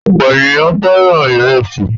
Ọ̀pọ̀ ènìyàn fẹ́ràn ìrẹsì.